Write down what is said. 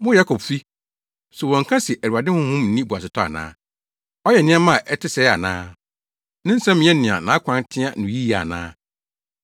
Mo Yakobfi, so wɔnka se, “ Awurade Honhom nni boasetɔ ana? Ɔyɛ nneɛma a ɛte sɛɛ ana? “Ne nsɛm nyɛ nea nʼakwan teɛ no yiye ana?